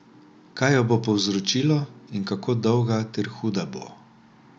Kaj jo bo povzročilo in kako dolga ter huda bo?